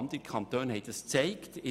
Andere Kantone haben es aufgezeigt.